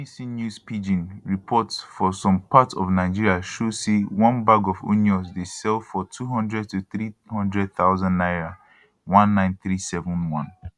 bbc news pidgin report for some parts of nigeria show say one bag of onions dey sell for 200 to 300 thousand naira 19371